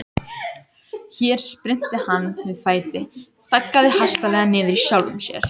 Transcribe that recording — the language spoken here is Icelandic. Hér spyrnti hann við fæti, þaggaði hastarlega niður í sjálfum sér.